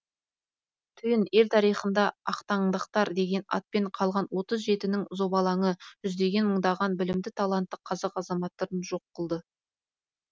түйін ел тарихында ақтаңдақтар деген атпен қалған отыз жетінің зобалаңы жүздеген мыңдаған білімді талантты қазақ азаматтарын жоқ қылды